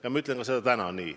Ja ma ütlen seda ka täna.